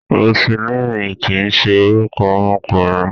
Rosilíìnì kìí ṣe orúkọ ọmọkùnrin.